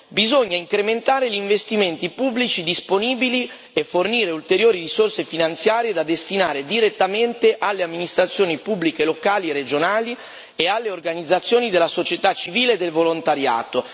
bisogna incrementare gli investimenti pubblici disponibili e fornire ulteriori risorse finanziarie da destinare direttamente alle amministrazioni pubbliche locali, regionali e alle organizzazioni della società civile e del volontariato.